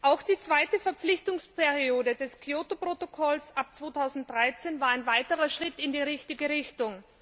Auch die zweite Verpflichtungsperiode des Kyoto Protokolls ab 2013 war ein weiterer Schritt in die richtige Richtung.